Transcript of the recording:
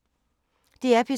DR P3